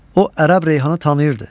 O ərəb reyhanı tanıyırdı.